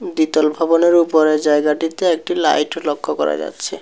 দ্বিতল ভবনের ওপরের জায়গাটিতে একটি লাইট লক্ষ করা যাচ্ছে।